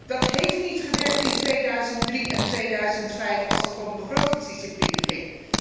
Dat heeft niet gewerkt in 2003, noch in 2005, toen het om begrotingsdiscipline ging.